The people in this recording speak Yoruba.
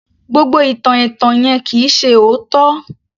Gbogbo ìtàn ẹ̀tàn yẹn kì í ṣe òótọ́